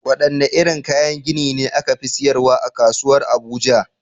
Wadanne irin kayan gini ne aka fi siyarwa a kasuwar Abuja?